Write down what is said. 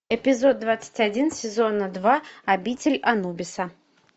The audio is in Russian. эпизод двадцать один сезона два обитель анубиса